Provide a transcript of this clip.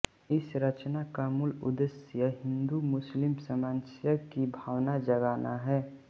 इस रचना का मूल उद्देश्य हिंदू मुस्लिम सामंजस्य की भावना जागाना है